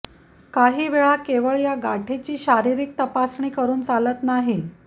काही वेळा केवळ या गाठीची केवळ शारीरिक तपासणी करून चालत नाही